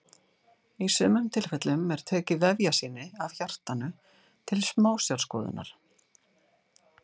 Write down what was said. Í sumum tilfellum er tekið vefjasýni af hjartanu til smásjárskoðunar.